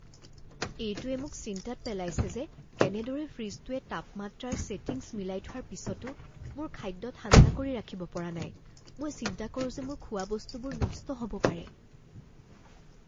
এইটোৱে মোক চিন্তাত পেলাইছে যে কেনেদৰে ফ্ৰিজটোৱে তাপমাত্ৰাৰ ছেটিংছ মিলাই থোৱাৰ পিছতো মোৰ খাদ্য ঠাণ্ডা কৰি ৰাখিব পৰা নাই মই চিন্তা কৰো যে মোৰ খোৱাবস্তুবোৰ নষ্ট হ'ব পাৰে।